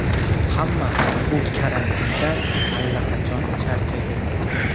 Hamma bu karantindan allaqachon charchagan.